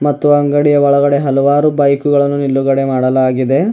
ಮತ್ತು ಅಂಗಡಿಯ ಒಳಗಡೆ ಹಲವಾರು ಬೈಕುಗಳನ್ನು ನಿಲುಗಡೆ ಮಾಡಲಾಗಿದೆ.